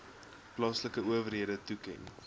plaaslike owerhede toeken